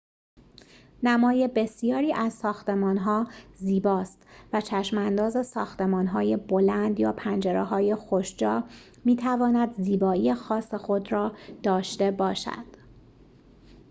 نمای بسیاری از ساختمان‌ها زیباست و چشم‌انداز ساختمان‌های بلند یا پنجره‌های خوش‌جا می‌تواند زیبایی خاص خود را داشته باشد